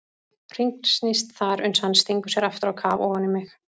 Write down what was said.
Hringsnýst þar uns hann stingur sér aftur á kaf ofan í mig.